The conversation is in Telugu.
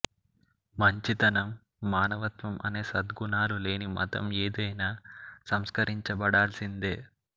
మంచితనం మానవత్వం అనే సద్గుణాలు లేని మతం యేదైనా సంస్కరించబడాల్సిందే